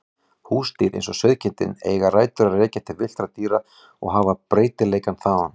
Húsdýr eins og sauðkindin eiga rætur að rekja til villtra dýra og hafa breytileikann þaðan.